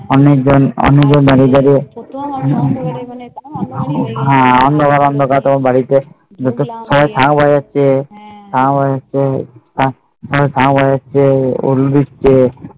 অনেক জন অনেক জন বাড়ির ধারে হ্যাঁ অন্ধকার অন্ধকার তোমার বাড়িতে